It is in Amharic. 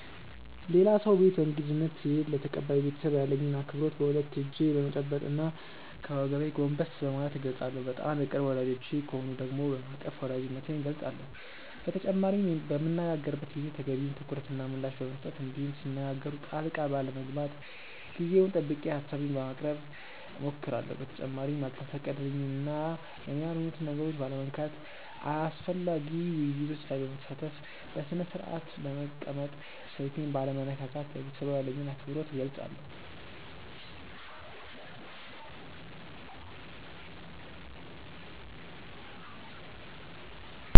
ሌላ ሰው ቤት በእንግድነት ስሄድ ለተቀባዩ ቤተሰብ ያለኝን አክብሮት በሁለት እጄ በመጨበጥ እና ከወገቤ ጎንበስ በማለት እገልፃለሁ። በጣም የቅርብ ወዳጆቼ ከሆኑ ደግሞ በማቀፍ ወዳጅነቴን እገልፃለሁ። በተጨማሪም በምንነጋገርበት ጊዜ ተገቢውን ትኩረት እና ምላሽ በመስጠት እንዲሁም ሲነጋገሩ ጣልቃ ባለመግባት ጊዜውን ጠብቄ ሀሳቤን በማቅረብ እሞክራለሁ። በተጨማሪም ያልተፈቀደልኝን እና የኔ ያልሆኑትን ነገሮች ባለመንካት፣ አስፈላጊ ውይይቶች ላይ በመሳተፍ፣ በስነስርአት በመቀመጥ፣ ስልኬን ባለመነካካት ለቤተሰቡ ያለኝን አክብሮት እገልፃለሁ።